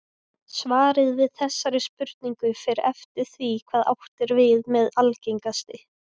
Svarið við þessari spurningu fer eftir því hvað átt er við með algengasti.